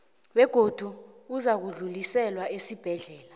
begodu uzakudluliselwa esibhedlela